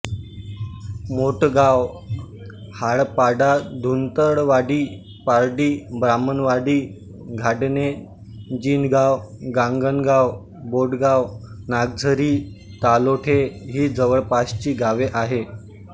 मोठगाव हाळापाडाधुंदळवाडी पारडी ब्राह्मणवाडी घाडणे जिनगाव गांगणगाव बोडगाव नागझरी तालोठे ही जवळपासची गावे आहेत